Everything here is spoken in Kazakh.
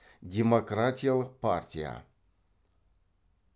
демократиялық партия